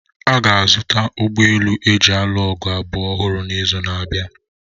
A ga-azụta ụgbọ elu eji alụ ọgụ abụọ ọhụrụ n'izu na-abịa.